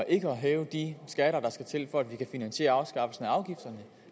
ikke at hæve de skatter der skal til for at vi kan finansiere afskaffelsen af afgifterne